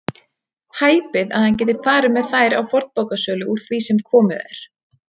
Hæpið að hann geti farið með þær á fornbókasölu úr því sem komið er.